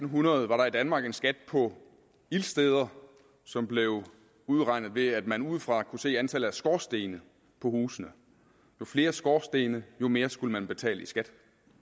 hundrede var der i danmark en skat på ildsteder som blev udregnet ved at man udefra kunne se antallet af skorstene på husene jo flere skorstene jo mere skulle man betale i skat